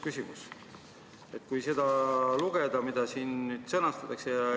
Kui lugeda selle sõnastust, seda, mida siin täiendatakse, siis ...